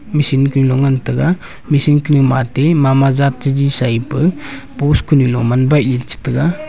machine ke long ngan taga machine kene mati mama zat teji Sai pe post kunu lo man bah chi taiga.